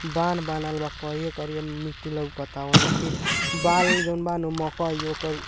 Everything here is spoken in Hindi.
बाल बनल बा करिया-करिया मिट्टी लउकता ओमें मिट्टी बाल लम्बा-लम्बा कई ओकर|